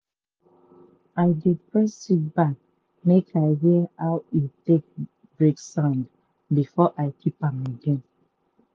i dey press seed bag make i hear aw e take break sound before i keep am again.